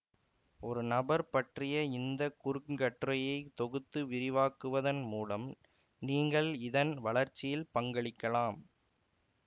ஒரு நபர் பற்றிய இந்த குறுங்கட்டுரையை தொகுத்து விரிவாக்குவதன் மூலம் நீங்கள் இதன் வளர்ச்சியில் பங்களிக்கலாம்